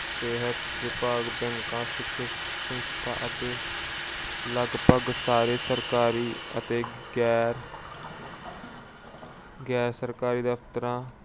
ਸਿਹਤ ਵਿਭਾਗ, ਸਿਖਿਅਕ ਸੰਸਥਾਵਾਂ ਅਤੇ ਲਗਭਗ ਸਾਰੇ ਸਰਕਾਰੀ ਅਤੇ ਗੈਰ ਅਹ ਗੈਰ-ਸਰਕਾਰੀ ਦਫ਼ਤਰਾਂ